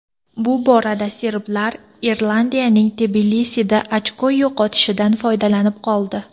Bu borada serblar Irlandiyaning Tbilisida ochko yo‘qotishidan foydalanib qoldi.